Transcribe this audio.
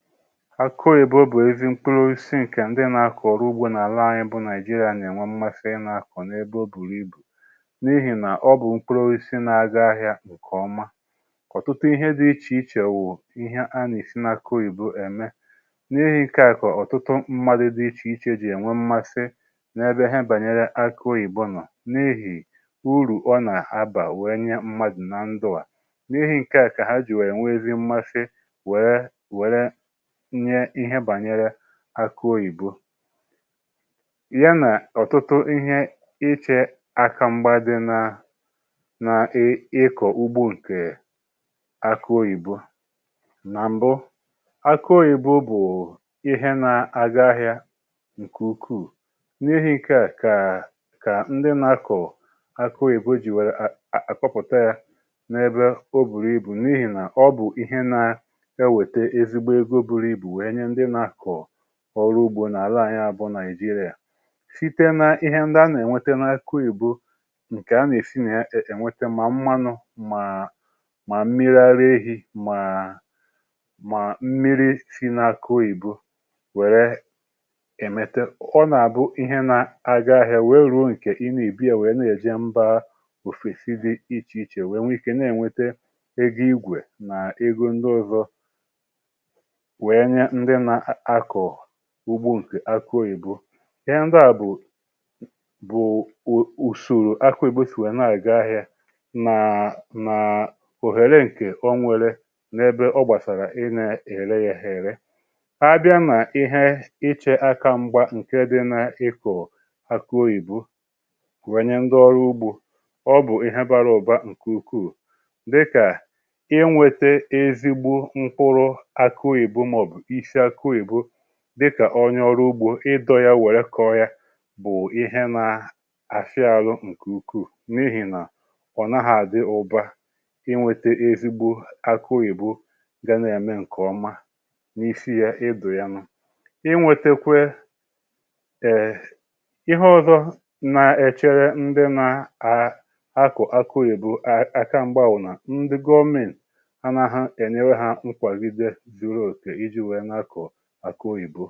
Akụ̀ oyìbo bụ ezi mkpụrụ osisi ǹkè ndị nà-akụ̀ ọrụ ugbȯ n’àla anyị̇ bụ nàịjiria na-ènwe mmasi ị nà-akụ̀ n’ebe o bùru ibù n’ihì nà ọ bụ̀ mkpụrụ oisi na-aga ahịa nke ọma, ọ̀tụtụ ihe dị ichè ichè wù ihe a nà-esi nà akụ oyìbo ème n’ihì ǹkè à kà ọ̀tụtụ mmadu dị ichè ichè jì ènwe mmasi n’ebe ihe bànyere akụ oyìbo nọ̀ n’ihì urù ọ nà-abà wee nye mmadụ̀ na ndụ̀ a n’ihì ǹkè a kà ha jì wèe nwezie mmasi wee wère nye ihe bànyere akụ oyìbo ya nà ọ̀tụtụ ihe ichè aka mgba dị na na ịkọ̀ ugbo ǹkè akụ oyìbo nà m̀bụ, akụ oyìbo bụ̀ ihe na-aga ahịȧ ǹkè ukwuù n’ihì nke à kà ndị nà-akọ akụ oyìbo jì wèrè àkpọpụ̀ta yȧ n’ebe ọ bùrù ibu̇ n’ihì nà ọ bụ̀ ihe na-ewete ezigbo ego bụrụ ibu wee nye ndị na-akọ ọrụ ugbȯ nà-àla anyị bụ Naịjịrịa, site n'ihe ndị a nà-ènwete n’akụ oyìbo ǹkè a nà-èsi nà-ènwete mà mmanụ mà mà mmiri ara ehi̇ màà mà mmiri si n’akụ oyìbo wère èmète ọ nà-àbụ ihe na-aga ahịa wee ruo ǹkè i na-èbu wèe na-èje mba òfesi dị ichè ichè wèe nwee ikė na-ènwete ego igwè nà ego ndị ọzọ wee nye ndị na-akọ ugbu̇ ǹkè akụ oyìbo. Ihe ndị àbụ̀ bụ̀ bụ ụ ụ ùsoro akụ oyìbo sị̀ nwèè na-àga ahịȧ nàà nàà òhère ǹkè onwėre n’ebe ọ gbàsàrà ị nà-ère yȧ èhèrè, a bịa nà ihe ichė aka mgbȧ ǹke dị nà-ikọ̀ akụ oyibo kwènye ndị ọrụ ugbȯ ọ bụ̀ ihe bara ụ̀ba ǹkè ukwuù dịkà inwete ezigbo mkpụrụ akụ oyibo maọbu isi akụ oyibo dika ònyè ọrụ ugbȯ ịdọ̇ yȧ wère kọ̀ọ yȧ bụ̀ ihe nȧ-àfị ȧlụ̇ ǹkè ukwuù n’ihì nà ọ̀ nàghị àdị ụbȧ inwėtė ezigbo akụ oyibo ga na-eme ǹkè ọma n’isi yȧ ịdụ̀ ya nụ̇, inwėtėkwe ee ihe ọzọ̇ na-èchere ndị na-a a akụ̀ akụ òyìbo àka m̀gbà wụ nà ndị gọọmenti anaghị̇ ènyewe ha nkwagide zuru oké iji nwee na-akọ akụ oyibo.